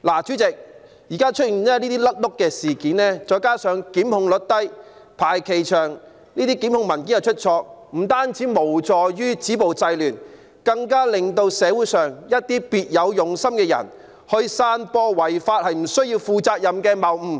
主席，現在出現這些"甩轆"事件，再加上檢控率低、排期長、檢控文件出錯，不但無助於止暴制亂，更令社會上一些別有用心的人可以散播違法也不需要負上責任的謬誤。